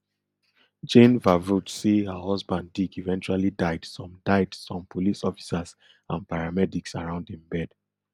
jane vervoorts say her husband dick eventually died some died some police officers and paramedics around im bed